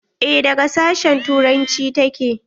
Eh daga sashen turanci ta ke.